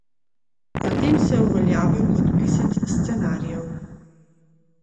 Zatem se je uveljavil kot pisec scenarijev.